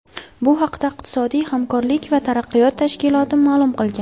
Bu haqda iqtisodiy hamkorlik va taraqqiyot tashkiloti ma’lum qilgan.